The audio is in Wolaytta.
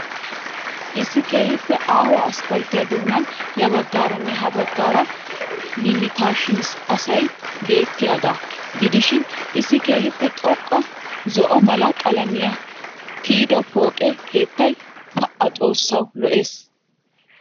Issi keehiippe aaho aspalttiya doonan ya baggaaranne ha baggaara limitations asay beettiyaagaa gidishiin issi keehiippe xoqqa zo'o mala qalamiyaan tiyido pooqe keettay pa! xoossawu lo'ees!